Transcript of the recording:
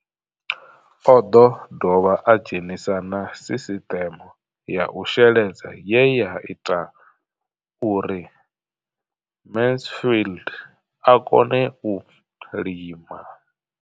O ḓo dovha a dzhenisa na sisiṱeme ya u sheledza ye ya ita uri Mansfied a kone u lima.